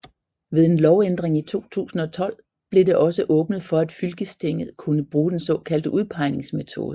Ved en lovændring i 2012 blev det også åbnet for at fylkestinget kunne bruge den såkaldte udpegingsmetode